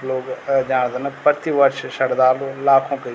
लोग अ जाणदन प्रतिवर्ष सरदार लोग लाखों की --